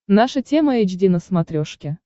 наша тема эйч ди на смотрешке